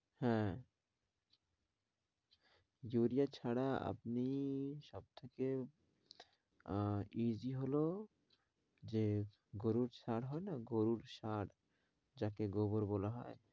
হ্যাঁ ইউরিয়া ছাড়া আপনি সবথেকে আহ easy হলো যে গরুর সার হয় না গরুর সার যাকে গোবর বলা হয়